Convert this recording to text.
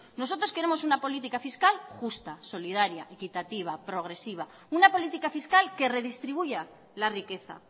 nosotros queremos una política fiscal justa solidaria equitativa progresiva una política fiscal que redistribuya la riqueza